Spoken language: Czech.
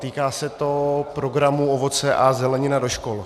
Týká se to programu Ovoce a zelenina do škol.